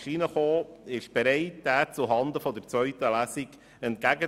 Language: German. Er lag bei der ursprünglichen Gesetzesberatung nicht vor.